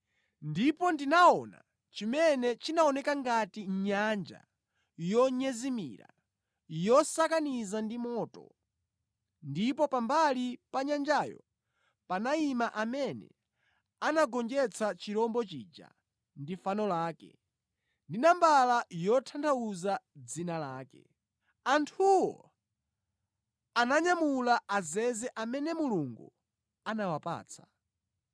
Ndipo ndinaona chimene chinaoneka ngati nyanja yonyezimira yosakaniza ndi moto, ndipo pambali pa nyanjayo panayima amene anagonjetsa chirombo chija ndi fano lake, ndi nambala yotanthauza dzina lake. Anthuwo ananyamula azeze amene Mulungu anawapatsa.